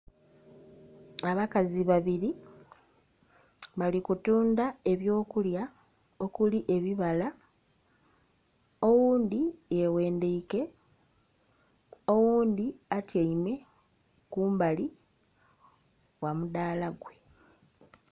Abakazi babiri bali kutundha eby'okulya okuli ebibala oghundhi yeghendhaike, oghundhi atyaime kumbali gha mudaala gwe.